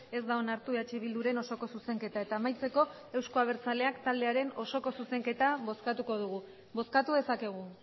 ez da onartu eh bilduren osoko zuzenketa eta amaitzeko euzko abertzaleak taldearen osoko zuzenketa bozkatuko dugu bozkatu dezakegu